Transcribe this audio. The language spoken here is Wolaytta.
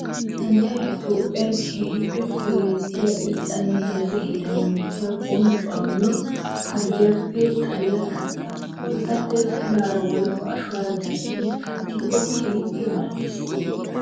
Santtay toophphiyan keehippe koyettiya irxxanne gezze heeran mokkiya bonccuwa miyo harggiyaappekka xalliya katta. Ha katta pilaara woykko ashuwara gattiddi kattikko keehippe mali'ees.